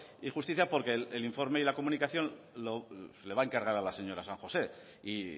y justicia porque el informe y la comunicación le va a encargar a la señora san josé y